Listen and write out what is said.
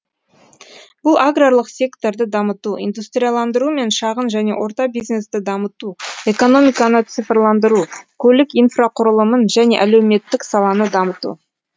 бұл аграрлық секторды дамыту индустрияландыру мен шағын және орта бизнесті дамыту экономиканы цифрландыру көлік инфрақұрылымын және әлеуметтік саланы дамыту